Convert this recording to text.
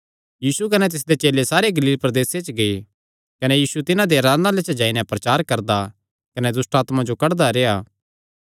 कने सैह़ सारे गलील प्रदेसे च तिन्हां दे आराधनालयां च जाईजाई नैं प्रचार करदा कने दुष्टआत्मां जो कड्डदा रेह्आ